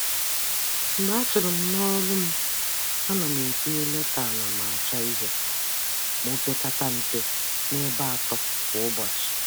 Mgbe a churu m n'ọrụ m, a na m etinye leta anamachọihe ma o pekata mpe n'ebe atọ kwa ụbọchị.